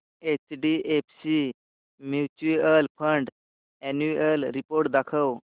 HDFC mutual fund annual report दाखव